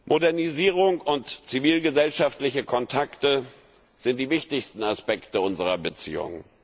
Modernisierung und zivilgesellschaftliche Kontakte sind die wichtigsten Aspekte unserer Beziehung.